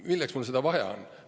Milleks mulle seda vaja on?